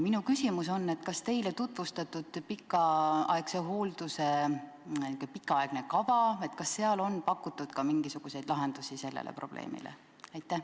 Minu küsimus on, et kas teile tutvustatud pikaaegse hoolduse pikaaegses kavas on pakutud ka mingisuguseid lahendusi sellele probleemile?